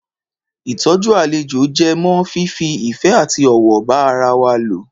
Ìtọjú àlejò jẹ mọ́ fífi ìfẹ àti ọ̀wọ̀ ba ará wá lò